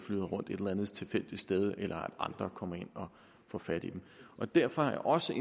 rundt et eller andet tilfældigt sted eller at andre kommer ind og får fat i dem og derfor har jeg også